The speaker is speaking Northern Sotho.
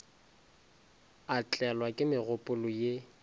a tlelwa ke megopolo ye